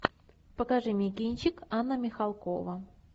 покажи мне кинчик анна михалкова